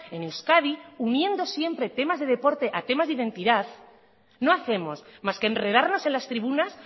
en euskadi uniendo siempre temas de deporte a temas de identidad no hacemos más que enredarnos en las tribunas